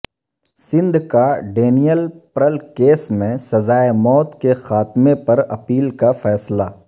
سندھ کا Daniel Pearl case میں سزائے موت کے خاتمے پر اپیل کا فیصلہ